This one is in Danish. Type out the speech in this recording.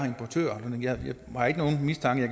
jeg har ikke nogen mistanke